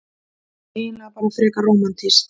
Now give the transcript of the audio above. Og eiginlega bara frekar rómantískt.